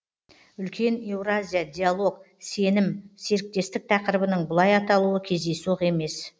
үлкен еуразия диалог сенім серіктестік тақырыбының бұлай аталуы кездейсоқ емес